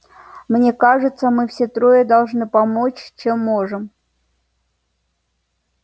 мне кажется мы все трое должны помочь чем можем